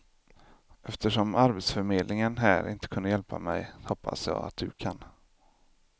Eftersom arbetsförmedlingen här inte kunde hjälpa mej, hoppas jag, att du kan.